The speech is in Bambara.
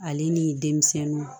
Ale ni denmisɛnninw